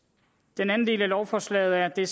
den anden del af lovforslaget er det